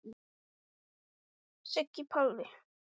Og mér fannst pabbi vera besti pabbi í heimi.